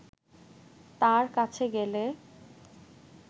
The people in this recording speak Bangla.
তাঁর কাছে গেলে